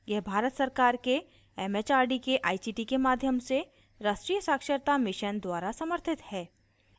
यह भारत सरकार के it it आर डी के आई सी टी के माध्यम से राष्ट्रीय साक्षरता mission द्वारा समर्थित है